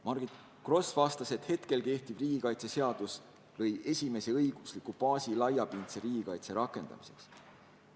Margit Gross vastas, et praegu kehtiv riigikaitseseadus lõi esimese õigusliku baasi laiapindse riigikaitse rakendamiseks.